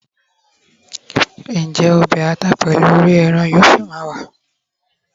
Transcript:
njé obe ata pèlú òrí eran yíò sí ma wa